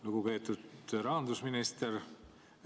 Lugupeetud rahandusminister!